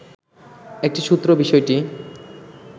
একটি সূত্র বিষয়টি